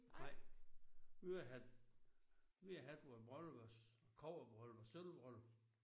Nej. Vi har haft vi har haft vores bryllup vores kobberbryllup og sølvbryllup